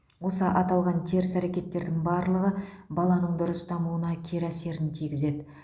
осы аталған теріс әрекеттердің барлығы баланың дұрыс дамуына кері әсерін тигізеді